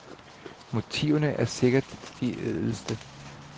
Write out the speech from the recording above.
Motiverne er sikkert de ædleste.